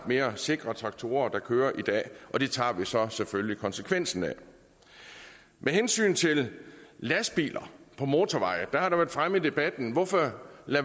mere sikre traktorer der kører i dag og det tager vi så selvfølgelig konsekvensen af med hensyn til lastbiler på motorvejene har det været fremme i debatten hvorfor